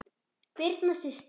Birna systir.